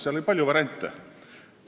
Oli palju variante.